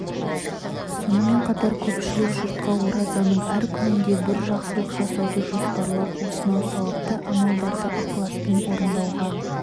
сонымен қатар көпшілік жұртқа оразаның әр күнінде бір жақсылық жасауды жоспарлап осынау сауапты амалдарды ықыласпен орындауға